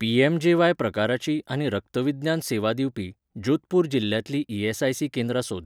PMJAY प्रकाराचीं आनी रक्तविज्ञान सेवा दिवपी, जोधपूर जिल्ल्यांतलीं ईएसआयसी केंद्रां सोद.